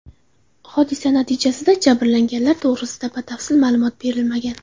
Hodisa natijasida jabrlanganlar to‘g‘risida batafsil ma’lumot berilmagan.